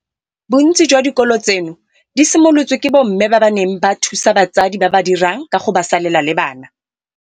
Bontsi jwa dikolo tseno di simolotswe ke bomme ba ba neng ba thusa batsadi ba ba dirang ka go ba salela le bana.